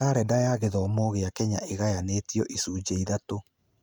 Karenda ya gĩthomo gĩa Kenya ĩgayanĩtio icunjĩ ithatũ.